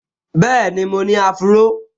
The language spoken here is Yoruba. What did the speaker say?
Bẹ́ẹ̀ni, mo ní áfúró